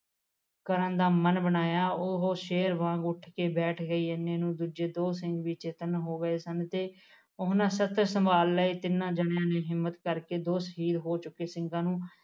ਕਰਨ ਦਾ ਮਨ ਬਣਾਇਆ ਉਹ ਸ਼ੇਰ ਵਾਂਗ ਉੱਠ ਕੇ ਬੈਠ ਗਈ ਇੰਨੇ ਨੂੰ ਦੂਜੇ ਦੋ ਸਿੰਘ ਵੀ ਚੇਤਨ ਹੋ ਗਏ ਸਨ ਤੇ ਉਹਨਾਂ ਸੰਭਾਲ ਲਏ ਤਿੰਨਾਂ ਜਾਣਿਆ ਨੇ ਹਿੰਮਤ ਕਰਕੇ ਬੇਹੋਸ ਹੋ ਚੁੱਕੇ ਸਿੰਘਾਂ ਨੂੰ